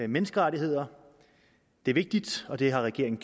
menneskerettigheder det er vigtigt og det har regeringen